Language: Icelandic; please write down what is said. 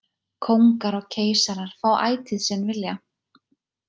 Kóngar og keisarar fá ætíð sinn vilja.